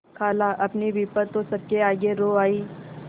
खालाअपनी विपद तो सबके आगे रो आयी